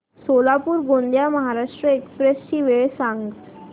Solapur Gondia Maharashtra express ची वेळ सांगा